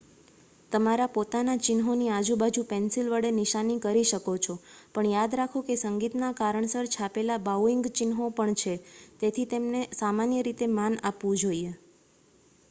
તમારા પોતાના ચિહ્નોની આજુબાજુ પેન્સિલ વડે નિશાની કરી શકો છો પણ યાદ રાખો કે સંગીતના કારણસર છાપેલા બાઉઇંગ ચિહ્નો પણ છે તેથી તેમને સામાન્ય રીતે માન આપવું જોઈએ